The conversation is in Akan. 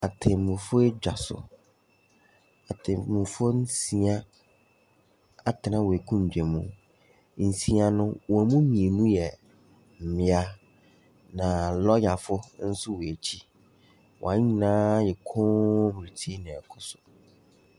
Atemmu foɔ adwa so, atemmu foɔ nsia atena wɔ akondwa mu. Nsia no wɔn mu mmienu yɛ mmea na lɔya fo nso wɔ akyi. Wɔn nyinaa ayɛ koom retie nea ɛɛkɔso.